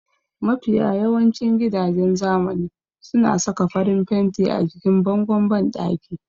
Mafiya yawancin gidajen zamani su kan sa farin fenti a jikin bangon banɗaki